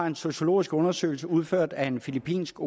en sociologisk undersøgelse udført af en filippinsk